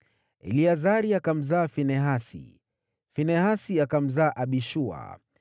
Eleazari akamzaa Finehasi, Finehasi akamzaa Abishua,